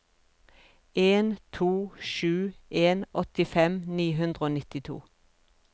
en to sju en åttifem ni hundre og nittito